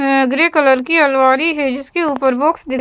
एँ grey colour की अलवारी है जिसके ऊपर बॉक्स दि --